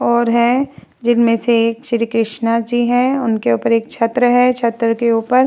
और हैं जिन में से एक श्री कृष्णा जी हैं उनके ऊपर एक छत्र है। छत्र के ऊपर --